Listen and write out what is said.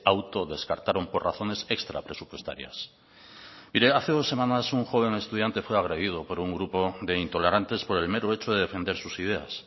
auto descartaron por razones extra presupuestarias mire hace dos semanas un joven estudiante fue agredido por un grupo de intolerantes por el mero hecho de defender sus ideas